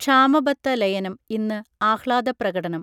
ക്ഷാമബത്ത ലയനം ഇന്ന് ആഹ്ലാദപ്രകടനം